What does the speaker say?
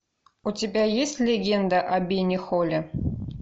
у тебя есть легенда о бене холле